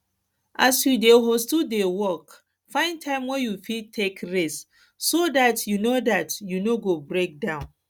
as you dey hustle dey work find time wey you fit take rest so dat you no dat you no go break down